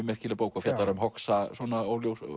merkileg bók fjallar um